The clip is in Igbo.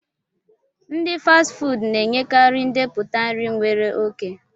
Ndi Fasti fuudu na-enyekarị ndepụta nri nwere oke